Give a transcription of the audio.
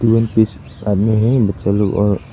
आदमी है बच्चा लोग और--